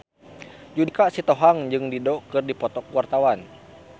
Judika Sitohang jeung Dido keur dipoto ku wartawan